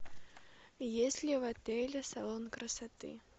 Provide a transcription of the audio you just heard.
есть ли в отеле салон красоты